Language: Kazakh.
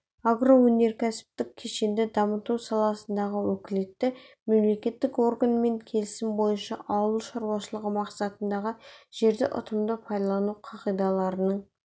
агроөнеркәсіптік кешенді дамыту саласындағы уәкілетті мемлекеттік органмен келісім бойынша ауыл шаруашылығы мақсатындағы жерді ұтымды пайдалану қағидаларының